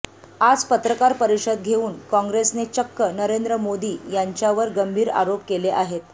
आज पत्रकार परिषद घेऊन काँग्रेसने चक्क नरेंद्र मोदी यांच्यावर गंभीर आरोप केले आहेत